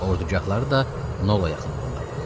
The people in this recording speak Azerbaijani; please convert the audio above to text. Ordugahları da Nola yaxınlığındadır.